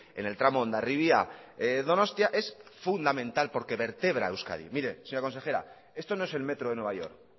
en el tramo hondarribia donostia es fundamental porque vertebra euskadi mire señora consejera esto no es el metro de nueva york